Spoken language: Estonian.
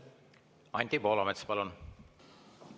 Anti Poolamets, palun!